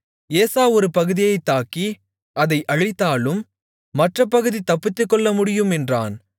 ஏசா ஒரு பகுதியைத் தாக்கி அதை அழித்தாலும் மற்றப் பகுதி தப்பித்துக்கொள்ள முடியும் என்றான்